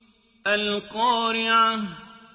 الْقَارِعَةُ